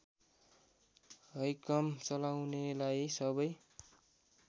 हैकम चलाउनेलाई सबै